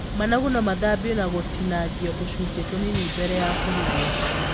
Managu no mathambio na gũtinangio tũcunjĩ tũnini mbere ya kũrugwo.